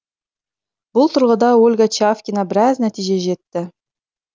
бұл тұрғыда ольга чавкина біраз нәтижеге жетті